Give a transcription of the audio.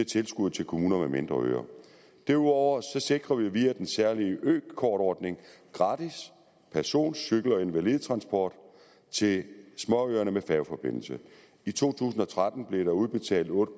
tilskud til kommuner med mindre øer derudover sikrer vi via den særlige økortordning gratis person cykel og invalidetransport til småøerne med færgeforbindelse i to tusind og tretten blev der udbetalt otte